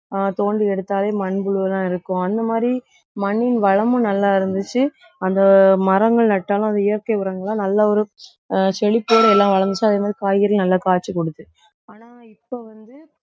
ஆஹ் தோண்டி எடுத்தாலே மண்புழுதான் இருக்கும். அந்த மாதிரி மண்ணின் வளமும் நல்லா இருந்துச்சு. அந்த மரங்கள் நட்டாலும் அந்த இயற்கை உரங்களை நல்ல ஒரு ஆஹ் செழிப்போடு எல்லாம் வளர்ந்துச்சு அதே மாதிரி காய்கறியும் நல்லா காய்ச்சி கொடுத்து ஆனா இப்போ வந்து